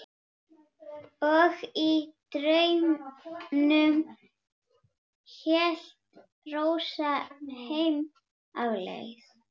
Og í draumnum hélt Rósa heim á leið.